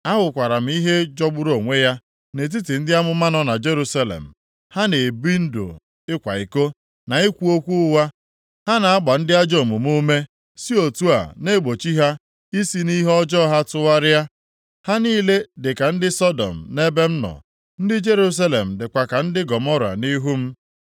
Ahụkwara m ihe jọgburu onwe ya nʼetiti ndị amụma nọ na Jerusalem. Ha na-ebi ndụ ịkwa iko, na ikwu okwu ụgha. Ha na-agba ndị ajọ omume ume, si otu a na-egbochi ha isi nʼihe ọjọọ ha tụgharịa. Ha niile dịka ndị Sọdọm nʼebe m nọ; ndị Jerusalem dịkwa ka ndị Gọmọra nʼihu m.”